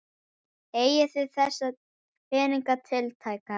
Eigið þið þessa peninga tiltæka?